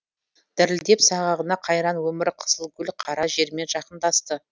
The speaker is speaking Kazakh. дірілдеп сағағында қайран өмір қызыл гүл қара жермен жақындасты